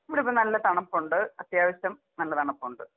ഇവിടിപ്പോ നല്ല തണുപ്പുണ്ട് അത്യാവശ്യം നല്ല തണുപ്പുണ്ട്.